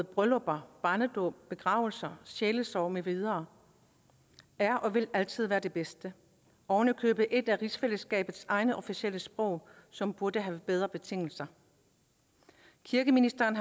bryllupper barnedåb begravelser sjælesorg med videre er og vil altid være det bedste ovenikøbet et af rigsfællesskabets egne officielle sprog som burde have bedre betingelser kirkeministeren